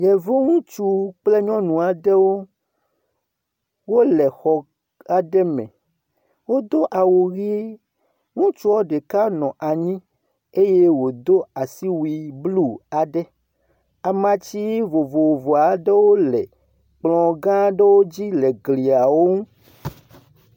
Yevu ŋutsu kple nyɔnu aɖewo, wole xɔ aɖe me. Wodo awu ʋi. Ŋutsua ɖeka nɔ anyi eye wòdo asiwui blu aɖe. Amatsi vovovo aɖewo le kplɔ̃ gã aɖewo dzi le glia wo ŋu.